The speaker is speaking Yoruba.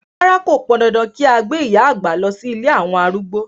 Rárá, kò pandandan kí a gbé ìyá àgbà lọ sí ilé àwọn arúgbó.